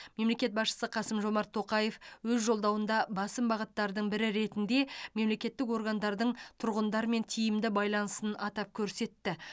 мемлекет басшысы қасым жомарт тоқаев өз жолдауында басым бағыттардың бірі ретінде мемлекеттік органдардың тұрғындармен тиімді байланысын атап көрсетті